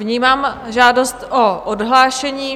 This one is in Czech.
Vnímám žádost o odhlášení.